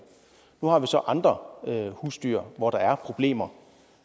nu har vi så andre husdyr hvor der er problemer